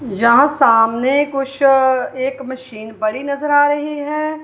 यहां सामने कुछ एक मशीन पड़ी नजर आ रही है।